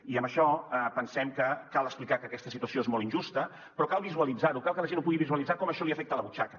i en això pensem que cal explicar que aquesta situació és molt injusta però cal visualitzar ho cal que la gent pugui visualitzar com això li afecta la butxaca